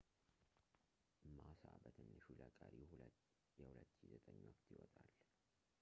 ማሳ በትንሹ ለቀሪው የ2009 ወቅት ይወጣል